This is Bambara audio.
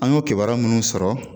An y'o kibaru minnu sɔrɔ